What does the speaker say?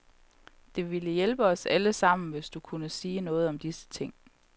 Det ville hjælpe os alle sammen, hvis du kunne sige noget om disse ting.